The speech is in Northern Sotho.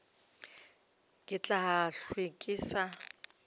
ke tla hlwe ke sa